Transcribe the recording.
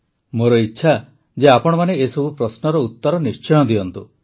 ମୋର ଇଚ୍ଛା ଯେ ଆପଣମାନେ ଏସବୁ ପ୍ରଶ୍ନର ଉତ୍ତର ନିଶ୍ଚୟ ଦିଅନ୍ତୁ